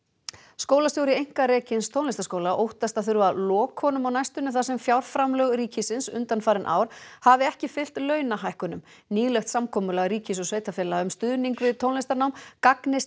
skólastjóri einkarekins tónlistarskóla óttast að þurfa að loka honum á næstunni þar sem fjárframlög ríkisins undanfarin ár hafi ekki fylgt launahækkunum nýlegt samkomulag ríkis og sveitarfélaga um stuðning við tónlistarnám gagnist